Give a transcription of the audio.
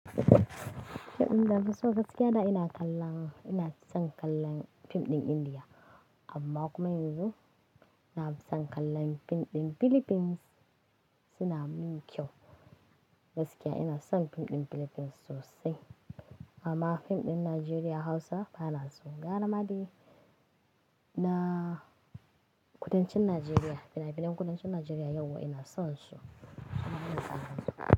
Fim ɗin da na fi so gaskiya da ina kalla, ina son kallon fim ɗin India. Amma kuma yanzu nafi son kallon fim ɗin Philippines suna mun kyau. Gaskiya ina son fim ɗin Philippines sosai. Amma fim ɗin Najeriya Hausa bana so. Yara ma dai na kudancin Najeriya, fina-finan kudancin Najeriya yauwa ina son su. Amma ina son fim ɗin Philippines.